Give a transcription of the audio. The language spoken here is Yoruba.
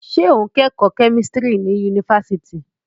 Ṣé o ń kẹ́kọ̀ọ́ kẹ́mísítírì ní yunifásitì?